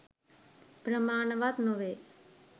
ප්‍රමාණවත් නොවේ.